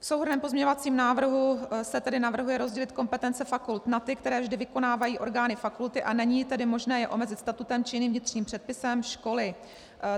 V souhrnném pozměňovacím návrhu se tedy navrhuje rozdělit kompetence fakult na ty, které vždy vykonávají orgány fakulty, a není tedy možné je omezit statutem či jiným vnitřním předpisem školy.